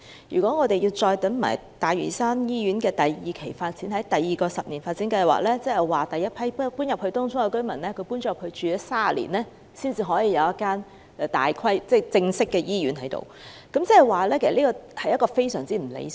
如果北大嶼山醫院的第二期發展要待第二個醫院發展計劃落實才能推展，屆時第一批遷往東涌的居民便已在當區居住了30年，才可以有一間正式的醫院，這是非常不理想的。